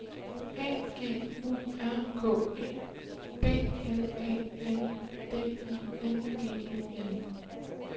A G U R K E B L A N D I N G E N